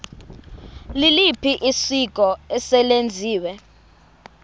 liliphi isiko eselenziwe